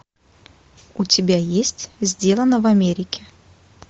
у тебя есть сделано в америке